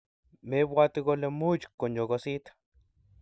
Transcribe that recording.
mebwati kole much konyogosit